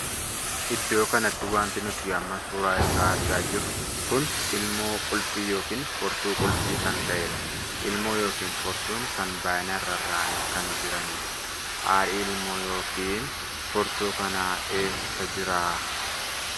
Iddoo kanatti wanti nuti amma suuraa isaa argaa jirru kun ilmoo qulfii ykn furtuu qulfii kan taheedha. ilmoo ykn furtuun kun baay'inaan rarraa'anii kan jiranidha. haadhi ilmoo ykn furtuu kanaa eessa jira?